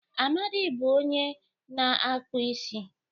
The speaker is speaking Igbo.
Amadi bụ onye na-akpụ isi.